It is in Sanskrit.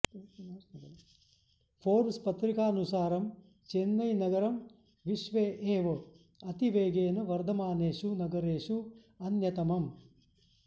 फ़ोर्ब्स् पत्रिकानुसारं चेन्नैनगरं विश्वे एव अतिवेगेन वर्धमानेषु नगरेषु अन्यतमम्